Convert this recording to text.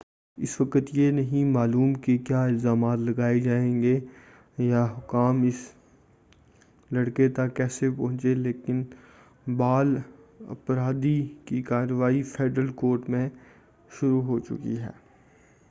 اس وقت یہ نہیں معلوم کہ کیا الزامات لگائے جائیں گے یا حکام اس لڑکے تک کیسے پہنچے لیکن بال اپرادھی کی کارروائی فیڈرل کورٹ میں شروع ہو چکی ہے